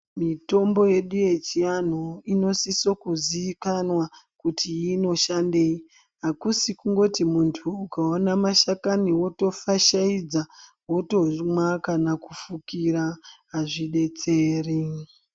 Mitombo yedu yechianhu inosiso kuizikanwa kuti inoshandei akusi kuti munthu ukaona mashakani wotofashaidza wotomwa kana kufukira azvidetseri.